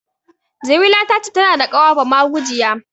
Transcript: Jamila ta ce tana da ƙawa bamagujiya.